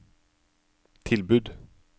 tilbud